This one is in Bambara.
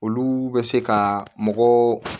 Olu bɛ se ka mɔgɔ